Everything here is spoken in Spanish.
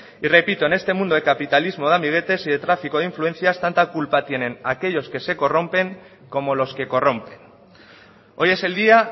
y repito en este mundo de capitalismo de amiguetes y de tráfico de influencias tanta culpa tiene aquellos que se corrompen como los que corrompen hoy es el día